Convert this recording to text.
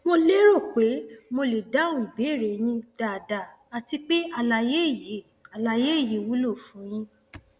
mo lérò pé mo lè dáhùn ìbéèrè yín dáadáa àti pé àlàyé yìí àlàyé yìí wúlò fún yín